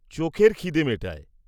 -চোখের খিদে মেটায়।